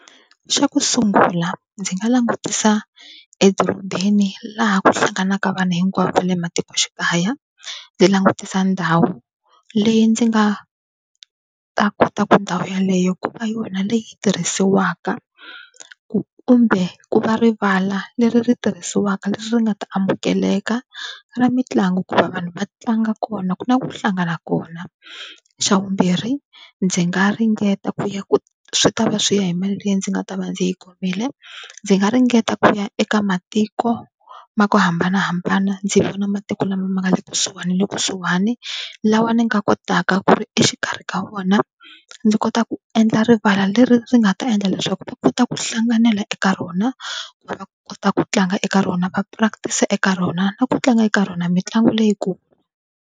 Xa ku sungula ndzi nga langutisa edorobeni laha ku hlanganaka vanhu hinkwavo va le matikoxikaya. Ndzi langutisa ndhawu leyi ndzi nga ta kota ku ndhawu yaleyo ku va yona leyi tirhisiwaka kumbe ku va rivala leri ri tirhisiwaka leswi nga ta amukeleka ra mitlangu ku va vanhu va tlanga kona na ku hlangana kona. Xa vumbirhi ndzi nga ringeta ku ya ku swi ta va swi ya hi mali leyi ndzi nga ta va ndzi yi khomile ndzi nga ringeta ku ya eka matiko ma ku hambanahambana ndzi vona matiko lama ma nga le kusuhana na le kusuhani lawa ni nga kotaka ku ri exikarhi ka vona ndzi kota ku endla rivala leri ri nga ta endla leswaku va kota ku hlanganela eka rona ku va kota ku tlanga eka rona va practice eka rona na ku tlanga eka rona mitlangu leyikulu.